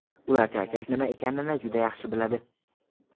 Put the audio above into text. Ular charchash nima ekanini juda yaxshi biladi.